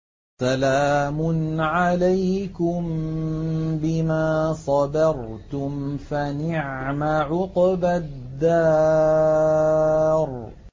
سَلَامٌ عَلَيْكُم بِمَا صَبَرْتُمْ ۚ فَنِعْمَ عُقْبَى الدَّارِ